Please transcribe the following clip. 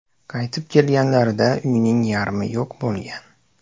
Qaytib kelganlarida uyning yarmi yo‘q bo‘lgan.